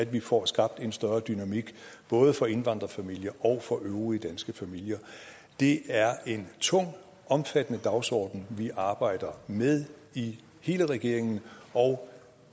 vi får skabt en større dynamik både for indvandrerfamilier og for øvrige danske familier det er en tung omfattende dagsorden vi arbejder med i hele regeringen og